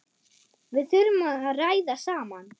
Við þurfum að ræða saman.